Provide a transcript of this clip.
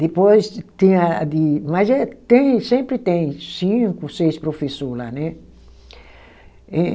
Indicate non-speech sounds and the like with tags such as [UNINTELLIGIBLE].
Depois tem a a de. Mas eh tem sempre tem cinco, seis professor lá, né? [UNINTELLIGIBLE]